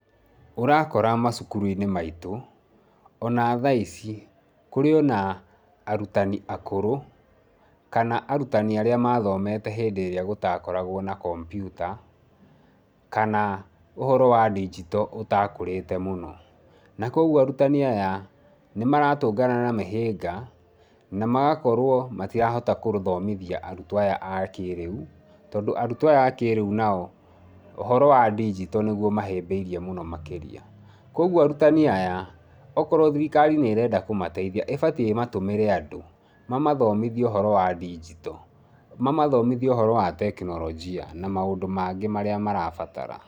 Ũrakora macukuru-inĩ maitũ, ona thaa ici, kũrĩ ona, arutani akũrũ, kana arutani arĩa mathomete hĩndĩ ĩrĩa gũtakoragũo na kombiuta, kana ũhoro wa ndigito ũtakũrĩte mũno. Na kuoguo arutani aya, nĩmaratũngana na mĩhĩnga, na magakorũo, matirahota kũthomithia arutwo aya a kĩrĩu, tondũ arutwo aya a kĩrĩu nao, ũhoro wa ndigito nĩguo mahĩmbĩirie mũno makĩria. Kuoguo arutani aya, okorwo thirikari nĩrenda kũmateithia, ĩbatie ĩmatũmĩre andũ, mamathomithie ũhoro wa ndigito. Mamathomitie ũhoro wa teknolojia, na maũndũ mangĩ marĩa marabatara.